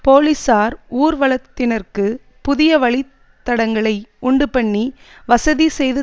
போலீசார் ஊர்வலத்தினருக்கு புதிய வழித்தடங்களை உண்டு பண்ணி வசதி செய்து